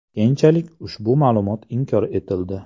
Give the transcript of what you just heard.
Keyinchalik ushbu ma’lumot inkor etildi.